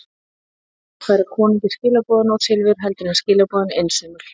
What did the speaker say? Líklega var betra að færa konungi skilaboðin og silfur heldur en skilaboðin einsömul.